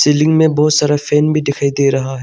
लिंग में बहुत सारा फैन भी दिखाई दे रहा है।